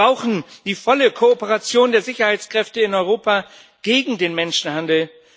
Wir brauchen die volle Kooperation der Sicherheitskräfte in Europa gegen den Menschenhandel.